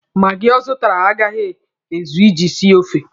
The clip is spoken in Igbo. Maagi ọ zụtara agaghị ezu iji sie ofe.